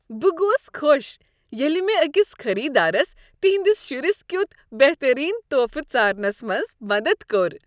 بہٕ گوس خوش ییٚلہ مےٚ أکس خریٖدارس تہنٛدس شرس کیُتھ بہترین تحفہٕ ژارنس منز مدد کوٚر۔